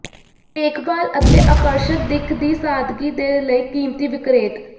ਦੇਖਭਾਲ ਅਤੇ ਆਕਰਸ਼ਕ ਦਿੱਖ ਦੀ ਸਾਦਗੀ ਦੇ ਲਈ ਕੀਮਤੀ ਿਵਕਰੇਤ